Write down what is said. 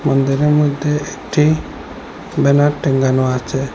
মন্দিরের মধ্যে একটি ব্যানার টাঙানো আচে।